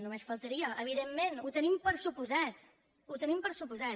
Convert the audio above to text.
només faltaria evidentment ho donem per descomptat ho donem per descomptat